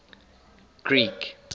greek